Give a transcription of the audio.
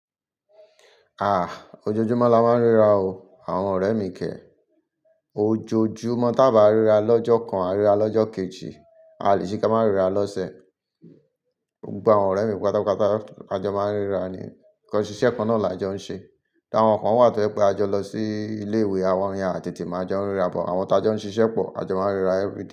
Ah! Ojoojúmọ́ la máa ń ríra o àwọn ọ̀rẹ́ mi kẹ̀. Ojoojúmọ́ tí a bá ríra lọ́jọ́ kan, a ríra lọ́jọ́ kejì, a lè ṣe kí a má ríra lọ́sẹ̀. Gba àwọn ọ̀rẹ́ mi pátápátá, àjọ máa ń ríra ni. Ǹkan ṣiṣẹ́ kan náà làjọ ń ṣe. Áwọn kan wà tó pé àjọ lọ sí ilé ìwé àwọn ya àtètè máa jọ ń ríra, but àwọn tájọ ń ṣiṣẹ́ pọ̀, àjọ máa ń ríra everyday.